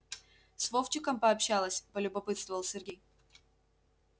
с вовчиком пообщалась полюбопытствовал сергей